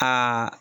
Ka